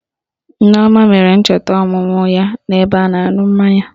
Nneoma mere ncheta ọmụmụ ya n'ebe a na-aṅụ mmanya